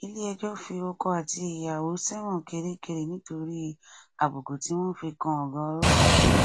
iléẹjọ fi ọkọ àti ìyàwó sẹwọn kirikiri nítorí àbùkù tí wọn fi kan ọgá ọlọpàá